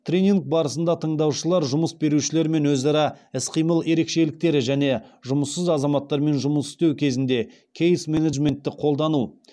тренинг барысында тыңдаушылар жұмыс берушілермен өзара іс қимыл ерекшеліктері және жұмыссыз азаматтармен жұмыс істеу кезінде кейс менеджментті қолдану